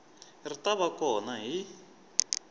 ri ta va kona hi